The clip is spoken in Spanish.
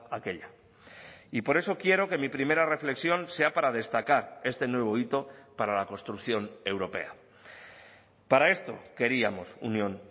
aquella y por eso quiero que mi primera reflexión sea para destacar este nuevo hito para la construcción europea para esto queríamos unión